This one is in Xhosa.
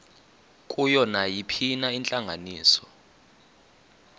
kuyo nayiphina intlanganiso